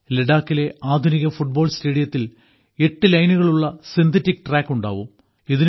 ലഡാക്കിലെ ആധുനിക ഫുട്ബാൾ സ്റ്റേഡിയത്തിൽ എട്ട് ലൈനുകളുള്ള സിന്തറ്റിക് ട്രാക്കുണ്ടാകും